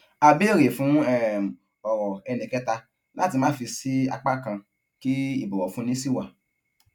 a béèrè fún um èrò ẹnìkẹta láti má fì sí apá kan kí ìbọwọfúni sì wà